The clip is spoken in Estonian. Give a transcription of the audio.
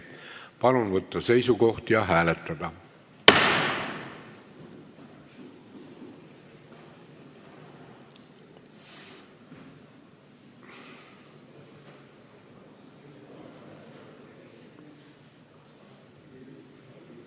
Palun võtta seisukoht ja hääletada!